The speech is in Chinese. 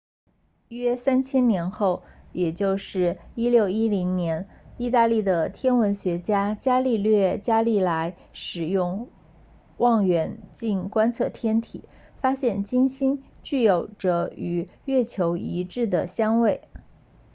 约三千年后也就是在1610年意大利的天文学家伽利略伽利莱 galileo galilei 使用望远镜观测天体发现金星具有着与月球一致的相位